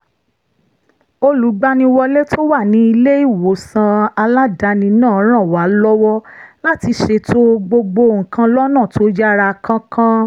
olùgbaniwọlé tó wà ní ilé-ìwòsàn aládàáni náà ràn wá lọ́wọ́ láti ṣètò gbogbo nǹkan lọ́nà tó yára kánkán